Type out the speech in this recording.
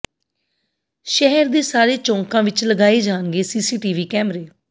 ਸ਼ਹਿਰ ਦੇ ਸਾਰੇ ਚੌਂਕਾਂ ਵਿਚ ਲਗਾਏ ਜਾਣਗੇ ਸੀਸੀਟੀਵੀ ਕੈਮਰੇ